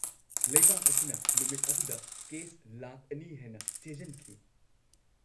-ꯂꯩꯕꯥꯛ ꯑꯁꯤꯅ ꯅꯨꯃꯤꯠ ꯑꯗꯨꯗ ꯀꯦꯁ ꯂꯥꯈ ꯑꯅꯤ ꯍꯦꯟꯅ ꯆꯦꯖꯟꯈꯤ꯫